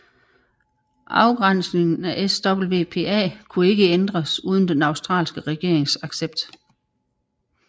Afgrænsningen af SWPA kunne ikke ændres uden den australske regerings accept